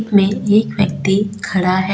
में एक व्यक्ति खड़ा है।